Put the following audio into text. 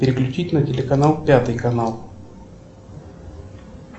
переключить на телеканал пятый канал